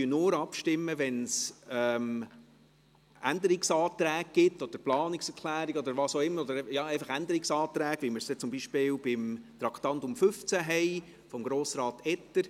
Wir stimmen nur dann ab, wenn es Änderungsanträge, Planungserklärungen oder was auch immer gibt, beziehungsweise Änderungsanträge, wie wir sie zum Beispiel von Grossrat Etter zu Traktandum 15 haben.